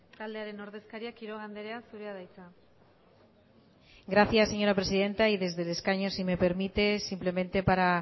taldearen ordezkaria quiroga andrea zurea da hitza gracias señora presidenta y desde el escaño si me permite simplemente para